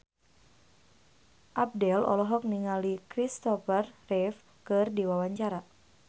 Abdel olohok ningali Kristopher Reeve keur diwawancara